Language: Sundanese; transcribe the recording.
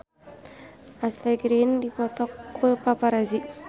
Ashley Greene dipoto ku paparazi